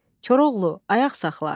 Koroğlu, ayaq saxla.